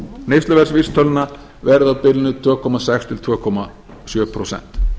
neysluverðsvísitöluna verði á bilinu tvö komma sex til tvö komma sjö prósent